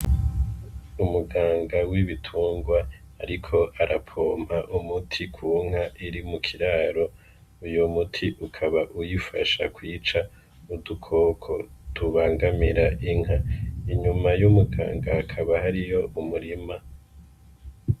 Umuganga w'ibitungwa, ariko arapompa umuti kunka iri mu kiraro uyu muti ukaba uyifasha kwica mu dukoko dubangamira inka inyuma y'umuganga akaba hari yo umurima.